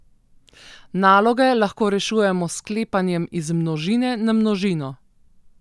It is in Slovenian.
Naloge lahko rešujemo s sklepanjem iz množine na množino.